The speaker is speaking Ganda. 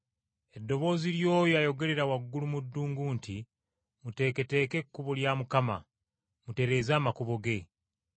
eddoboozi ly’oyo ayogelera waggulu mu ddungu nti, ‘Muteeketeeke ekkubo lya Mukama, mutereeze amakubo ge.’ ”